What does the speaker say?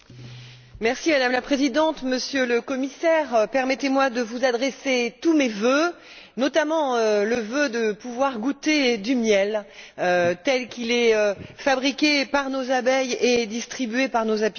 Madame la Présidente, Monsieur le Commissaire, permettez moi de vous adresser tous mes vœux, notamment le vœu de pouvoir goûter du miel tel qu'il est fabriqué par nos abeilles et distribué par nos apiculteurs.